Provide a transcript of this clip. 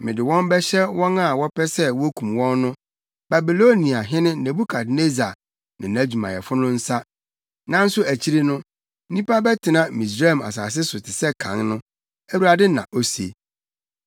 Mede wɔn bɛhyɛ wɔn a wɔpɛ sɛ wokum wɔn no, Babiloniahene Nebukadnessar ne nʼadwumayɛfo no nsa. Nanso akyiri no, nnipa bɛtena Misraim asase so te sɛ kan no,” Awurade na ose.